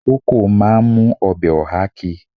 Koko máa ń mú ọbẹ̀ oha ki.